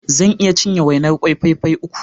Zan iya cinye wainar kwai fai fai uku.